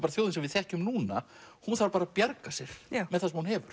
þjóðin sem við þekkjum núna hún þarf að bjarga sér með það sem hún hefur